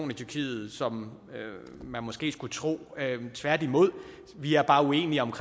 i tyrkiet som man måske skulle tro tværtimod vi er bare uenige om